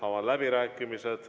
Avan läbirääkimised.